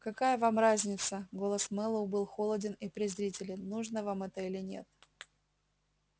какая вам разница голос мэллоу был холоден и презрителен нужно вам это или нет